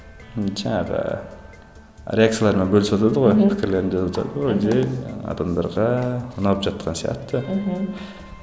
м жаңағы реакциялармен бөлісіватады ғой жай адамдарға ұнап жатқан сияқты мхм